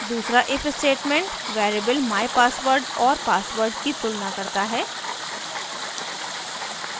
दूसरा if statement variables mypassword और password की तुलना करता है